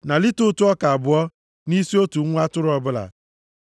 na lita ụtụ ọka abụọ, nʼisi otu nwa atụrụ ọbụla.